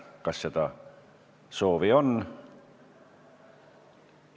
Kas seda soovi on?